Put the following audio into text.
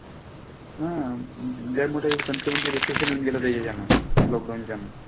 हा इंडिया मध्ये country मध्ये recession येऊन गेलं त्याच्यान, lockdown च्या न.